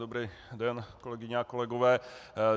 Dobrý den, kolegyně a kolegové.